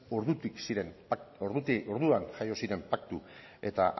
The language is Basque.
orduan jaio ziren paktu eta